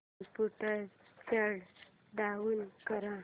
computer shut down कर